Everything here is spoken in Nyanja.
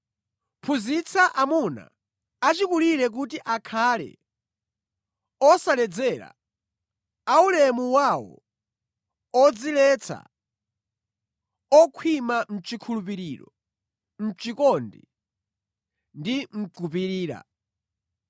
Phunzitsa amuna achikulire kuti akhale osaledzera, aulemu wawo, odziletsa, okhwima mʼchikhulupiriro, mʼchikondi ndi mʼkupirira.